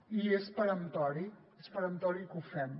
i és peremptori és peremptori que ho fem